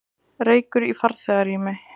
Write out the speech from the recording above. Reykur í farþegarými